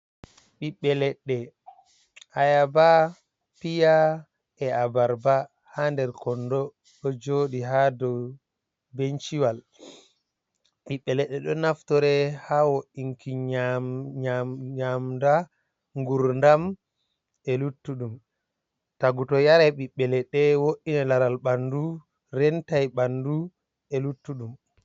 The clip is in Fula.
Ɓiɓɓe leɗɗe ayaba, piya, e abarba, ha nder kondo ɗo joɗi ha dou benci wal, ɓiɓbe leɗɗe ɗo naftore hawo inki nyamda, ngurdam, e luttuɗum, tagu to yarai ɓiɓbe leɗɗe wo'inan laral ɓanɗu, rentai ɓanɗu e luttu ɗum .